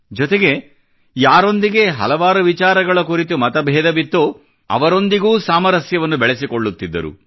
ಜೊತೆಗೆ ಯಾರೊಂದಿಗೆ ಹಲವು ವಿಚಾರಗಳ ಕುರಿತು ಮತಬೇಧವಿತ್ತೋ ಅವರೊಂದಿಗೂ ಸಾಮರಸ್ಯವನ್ನು ಬೆಳೆಸಿಕೊಳ್ಳುತ್ತಿದ್ದರು